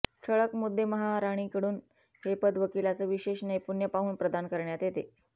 ठळक मुद्देमहाराणीकडून हे पद वकिलांचं विशेष नैपुण्य पाहून प्रदान करण्यात येते